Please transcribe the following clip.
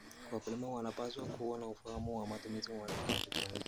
Wakulima wanapaswa kuwa na ufahamu wa matumizi ya teknolojia.